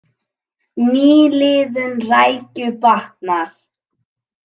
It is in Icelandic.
Nýliðun rækju batnar